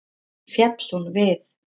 Féll hún við.